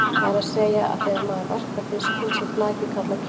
Það er að segja að þegar maður verkar fiskinn sé flakið kallað kjöt.